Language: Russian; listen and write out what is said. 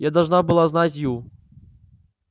я должна была знать ю